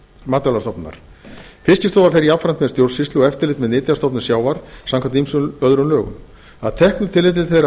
matvælastofnunar fiskistofa fer jafnframt með stjórnsýslu og eftirlit með nytjastofnum sjávar samkvæmt ýmsum öðrum lögum að teknu tilliti til þeirra